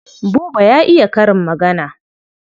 Buba ya iya karin magana.